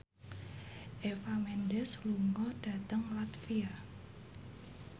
Eva Mendes lunga dhateng latvia